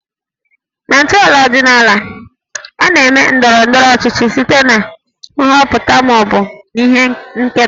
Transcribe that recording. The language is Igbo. Na ntọala ọdịnaala, a na-eme ndọrọ ndọrọ ọchịchị site na nhọpụta ma ọ bụ ihe nketa